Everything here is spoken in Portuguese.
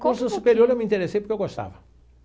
Curso superior eu me interessei porque eu gostava.